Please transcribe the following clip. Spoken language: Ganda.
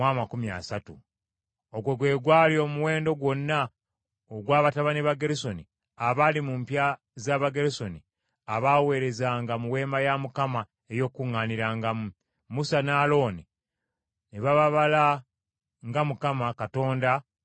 Ogwo gwe gwali omuwendo gwonna ogwa batabani ba Gerusoni abaali mu mpya za Abagerusoni abaaweerezanga mu Weema ey’Okukuŋŋaanirangamu. Musa ne Alooni baababala nga Mukama Katonda bwe yalagira Musa.